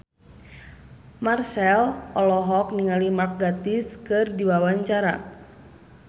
Marchell olohok ningali Mark Gatiss keur diwawancara